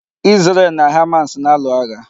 Isrel na Hamas na-alụ agha.